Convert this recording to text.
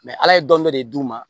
ala ye dɔnni dɔ de d'u ma